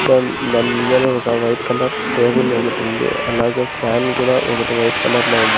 దాన్ దాని ముందరే ఒక వైట్ కలర్ టేబుల్ ఒకటి ఉంది అలాగే ఫ్యాన్ కూడా ఒకటి వైట్ కలర్ లో ఉంది.